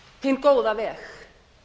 hinn góða veg